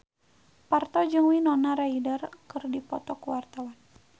Parto jeung Winona Ryder keur dipoto ku wartawan